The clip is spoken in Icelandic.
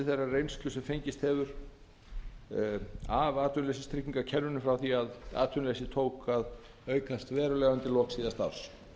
þeirrar reynslu sem fengist hefur við framkvæmd kerfisins frá því að atvinnuleysi tók að aukast verulega undir lok síðasta árs